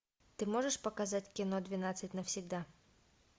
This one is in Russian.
ты можешь показать кино двенадцать навсегда